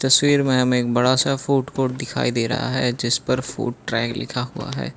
तस्वीर में हमें एक बड़ा सा फूड कोर्ट दिखाई दे रहा है जिस पर फूड ट्रैक लिखा हुआ है।